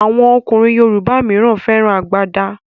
Awọn ọkùnrin yorùbá míràn féràn àgbàda.